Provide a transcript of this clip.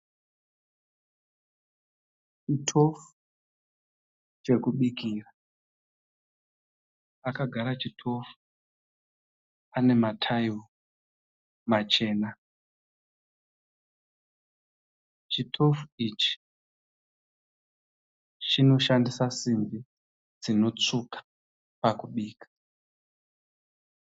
Chitofu chekubikira, pakagara chitofu pane mataira machena. Chitofu ichi panoshandisa zimbi dzinotsvuka pakubika.